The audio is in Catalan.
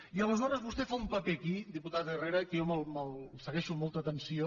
i aleshores vostè fa un paper aquí diputat herrera que jo segueixo amb molta atenció